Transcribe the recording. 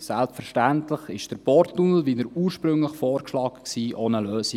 Selbstverständlich war der Porttunnel, wie er ursprünglich vorgeschlagen war, auch eine Lösung.